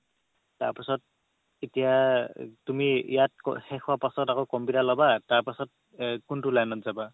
তাৰপাছত এতিয়া তুমি ইয়াত শেষ হোৱাৰ পাছত আকৌ computer ল'বা তাৰ পাছত কোনটো line ত যাবা